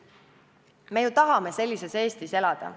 Me ju tahame sellises Eestis elada.